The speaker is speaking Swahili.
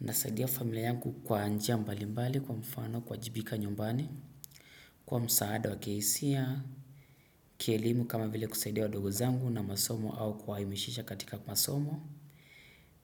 Nasaidia familia yangu kwa njia mbalimbali kwa mfano kuwajibika nyumbani, kwa msaada wa kihisia, kielimu kama vile kusaidia wadogo zangu na masomo au kuwa himisisha katika masomo.